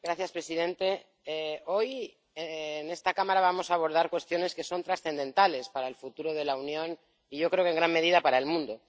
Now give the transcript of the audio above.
Señor presidente, hoy en esta Cámara vamos a abordar cuestiones que son trascendentales para el futuro de la Unión y yo creo que en gran medida para el mundo.